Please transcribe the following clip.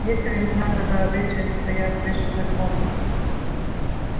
есть времена когда обычаи стоят выше законов